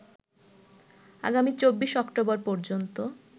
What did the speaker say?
আগামী ২৪ অক্টোবর পর্যন্ত